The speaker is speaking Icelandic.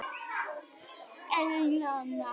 Emilíana